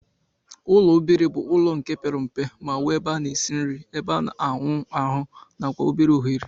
Ụlọ obere bu ụlọ nke pere mpe ma nwe ebe ana esi nri, ebe ana awụ ahu nakwa obere ohere.